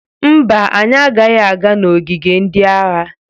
Mba, anyị agaghị aga n'ogige ndị agha.